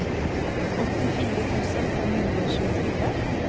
åttifire tusen fem hundre og tjuefire